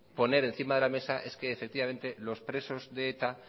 poner encima de la mesa es que los presos de eta